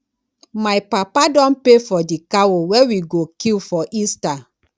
my papa don pay for di cow wey we go kill for easter